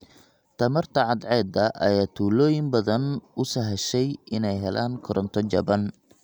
Tamarta cadceedda ayaa tuulooyin badan u sahashay inay helaan koronto jaban.